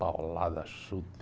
Paulada, chute